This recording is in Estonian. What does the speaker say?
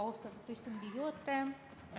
Austatud istungi juhataja!